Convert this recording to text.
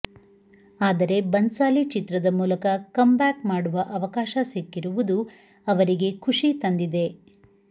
ಆದರೆ ಬನ್ಸಾಲಿ ಚಿತ್ರದ ಮೂಲಕ ಕಮ್ಬ್ಯಾಕ್ ಮಾಡುವ ಅವಕಾಶ ಸಿಕ್ಕಿರುವುದು ಅವರಿಗೆ ಖುಷಿ ತಂದಿದೆ